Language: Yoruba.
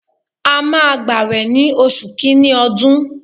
A máa gbawe ní oṣù kìíní ọdún.